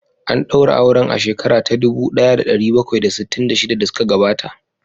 An daura auren a shekara ta dubu daya da dari bakwai da sittin da shida da suka gabata